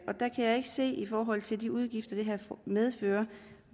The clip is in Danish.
se i forhold til de udgifter det her medfører